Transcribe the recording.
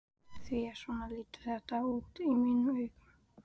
Því að svona lítur þetta út í mínum augum.